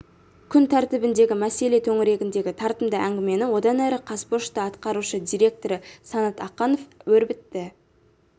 күн тәртібіндегі мәселе төңірегіндегі тартымды әңгімені одан әрі қазпошта атқарушы директоры санат ақанов өрбітті